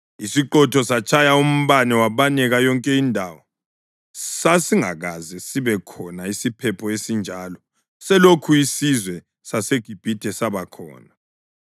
Isiqhotho satshaya umbane wabaneka yonke indawo. Sasingakaze sibe khona isiphepho esinjalo sekulokhu isizwe saseGibhithe saba khona.